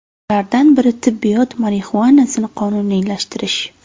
Ulardan biri tibbiyot marixuanasini qonuniylashtirish.